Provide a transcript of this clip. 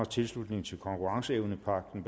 tilslutning til konkurrenceevnepagten